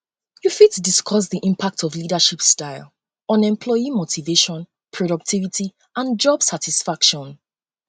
you fit discuss di impact of leadership style on employee motivation productivity um and job satisfaction